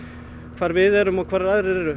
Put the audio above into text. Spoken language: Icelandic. hvar við erum og hvar aðrir eru